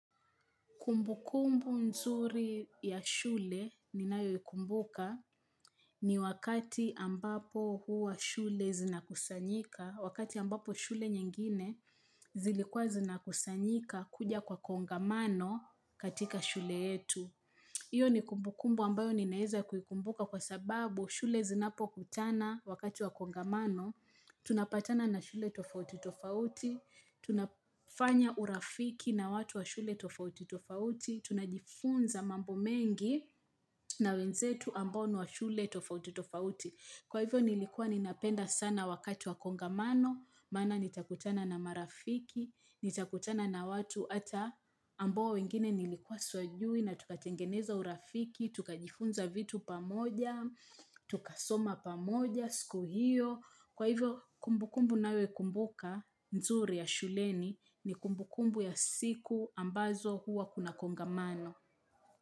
Kumbukumbu nzuri ya shule ninayo ikumbuka ni wakati ambapo huwa shule zinakusanyika, wakati ambapo shule nyengine zilikuwa zinakusanyika kuja kwa kongamano katika shule yetu. Iyo ni kumbukumbu ambayo ninaeza kukumbuka kwa sababu shule zinapo kutana wakati wa kongamano, tunapatana na shule tofauti tofauti, tunafanya urafiki na watu wa shule tofauti tofauti, tunajifunza mambo mengi na wenzetu ambao nwa shule tofauti tofauti. Kwa hivyo nilikuwa ninapenda sana wakati wa kongamano, mana nitakutana na marafiki, nitakutana na watu ata amboa wengine nilikuwa swajui na tukatengeneza urafiki, tukajifunza vitu pamoja, tukasoma pamoja, siku hiyo. Kwa hivyo kumbukumbu nayo kumbuka, nzuri ya shuleni ni kumbukumbu ya siku ambazo huwa kuna kongamano.